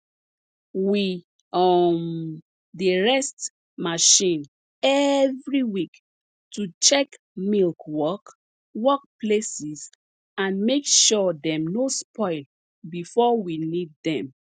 we um dey rest marchin every week to check milk work work places and make sure dem no spoil before we need dem